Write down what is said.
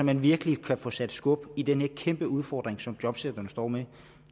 man virkelig kan få sat skub i den her kæmpe udfordring som jobcentrene står med